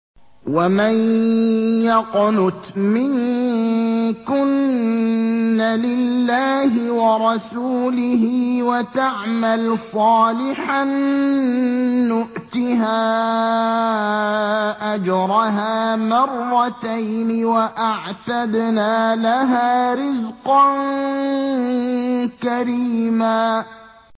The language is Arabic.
۞ وَمَن يَقْنُتْ مِنكُنَّ لِلَّهِ وَرَسُولِهِ وَتَعْمَلْ صَالِحًا نُّؤْتِهَا أَجْرَهَا مَرَّتَيْنِ وَأَعْتَدْنَا لَهَا رِزْقًا كَرِيمًا